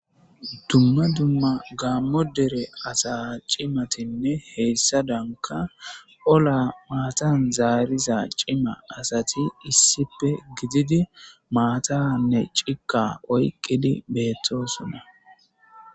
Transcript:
Dumma dumma gaammo dere asa cimatinne heyssa danka ola maatan zaariza cima asati issipe gididi maataanne cika oyqqidi beettosunna.